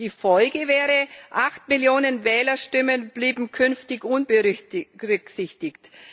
Die Folge wäre, 8 Millionen Wählerstimmen blieben künftig unberücksichtigt.